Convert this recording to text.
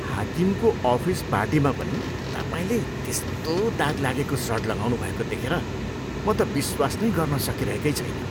हाकिमको office पार्टीमा पनि तपाईँले त्यस्तो दाग लागेको सर्ट लगाउनु भएको देखेर म त विश्वास नै गर्न सकिरहेकै छैन।